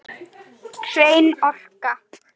Hrein orka.